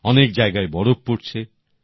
অনেক জায়গায় বরফ পড়ছে